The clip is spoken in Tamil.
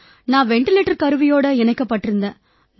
நான் வெண்டிலேட்டர் கருவியோட இணைக்கப்பட்டிருந்தேன்